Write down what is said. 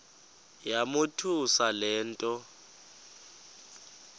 yamothusa le nto